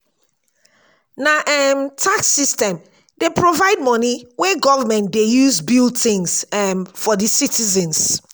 na um tax system dey provide moni wey government dey use build tins um for di citizens.